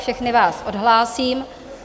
Všechny vás odhlásím.